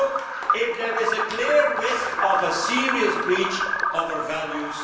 whether there exists a clear risk of a serious breach of our values.